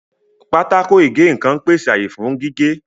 Pákó ìgé-nǹkan ń pèsè àyè fún gígé